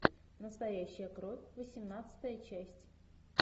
настоящая кровь восемнадцатая часть